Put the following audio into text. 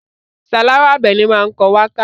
Sàláwà Àbẹ̀ní máa ń kọ wákà.